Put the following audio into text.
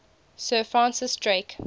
sir francis drake